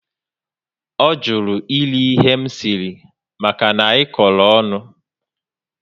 O jụrụ eri ihe m siri maka na anyị koro ọṅụ